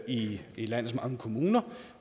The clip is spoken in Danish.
i landets mange kommuner